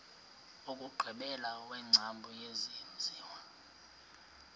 wokugqibela wengcambu yesenziwa